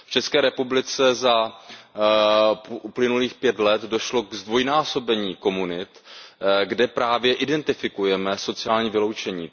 V České republice za uplynulých pět let došlo ke zdvojnásobení komunit, kde právě identifikujeme sociální vyloučení.